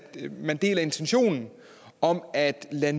man deler intentionen om at lade